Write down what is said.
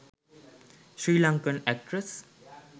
sirlankan actress